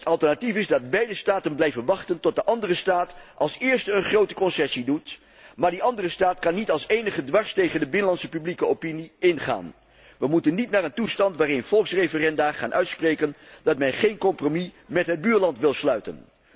Het alternatief is dat beide staten blijven wachten tot de andere staat als eerste een grote concessie doet, maar die andere staat kan niet als enige dwars tegen de binnenlandse publieke opinie ingaan. We moeten niet naar een toestand waarin volksreferenda gaan uitspreken dat men geen compromis met het buurland wil sluiten.